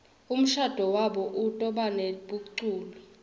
umshado wabo utobanebeculi